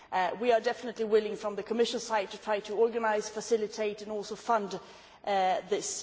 We are definitely willing on the Commission side to try to organise, facilitate and also fund this.